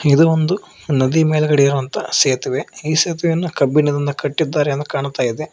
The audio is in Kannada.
ಇದು ಒಂದು ನದಿ ಮೇಲ್ಗಡೆ ಇರುವಂತ ಸೇತುವೆ ಈ ಸೇತುವೆಯನ್ನು ಕಬ್ಬಿಣನ್ನ ಕಟ್ಟಿದ್ದಾರೆ ಅಂತ ಕಾಣ್ತಾ ಇದೆ.